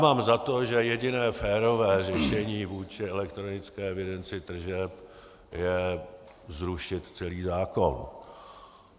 Mám za to, že jediné férové řešení vůči elektronické evidenci tržeb je zrušit celý zákon.